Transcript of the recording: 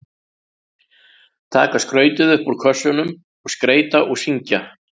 Taka skrautið upp úr kössunum og skreyta og syngja.